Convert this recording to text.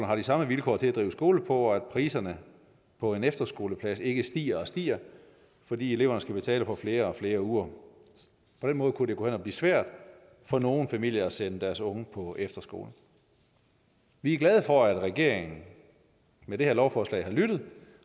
har de samme vilkår at drive skole på og sikrer at prisen på en efterskoleplads ikke bare stiger og stiger fordi eleverne skal betale for flere og flere uger på den måde kunne det gå hen og blive svært for nogle familier at sende deres unge på efterskole vi er glade for at regeringen med det her lovforslag har lyttet